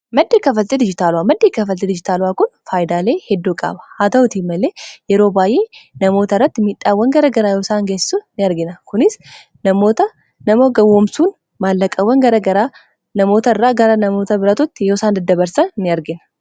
Madda kaffaltii dijitaalawaa maddii kaffaltii dijitaalawaa kun faayidaalee hedduu qaba. Haa ta'utii malee yeroo baay'ee namoota irratti miidhaawwan gara garaa yeroosaan gessisan in argina kunis namoota gawwoomsuun maallaqaawwan namoota irraa gara namoota biratitti yeroosaan daddabarsan in argina.